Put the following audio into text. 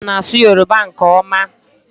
Darian na-asụ Yoruba nke ọma